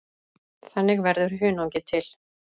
Þannig verður hunangið til.